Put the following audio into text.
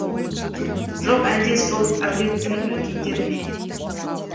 жоқ әлде сол әулеттің үлкендері ме